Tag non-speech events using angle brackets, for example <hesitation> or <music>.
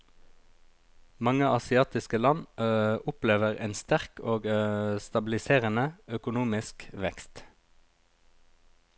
Mange asiatiske land <hesitation> opplever en sterk og <hesitation> stabiliserende økonomisk vekst.